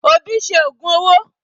Obi ṣe ògùn owó.